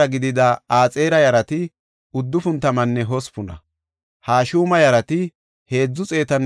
Qiriyat-Ariman, Kafiraninne Ba7erootan de7iya asay 743;